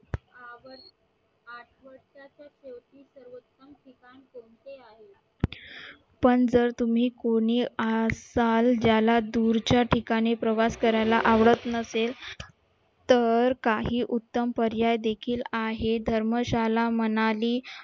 पण जर तुम्ही कोणी असाल ज्याला दूरच्या ठिकाणी प्रवास करायला आवडत नसेल तर काही उत्तम पर्याय देखील आहेत धर्मशाळा म्हणाली